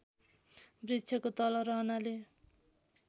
वृक्षको तल रहनाले